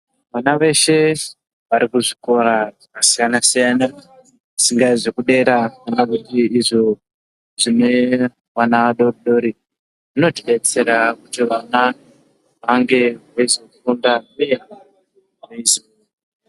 Vana veshe varikuzvikora zvakasiyanasiyana zvingave zvekudera kana kuti izvo zvine vana vadodori zvinotidetsera kuti vana vange veizofunda.